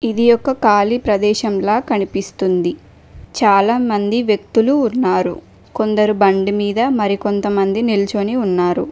ఇది ఒక కాళీ ప్రదేశంలా కనిపిస్తుంది చాలా మంది వ్యక్తులు ఉన్నారు కొందరు బండి మీద మరి కొంతమంది నిల్చుని ఉన్నారు.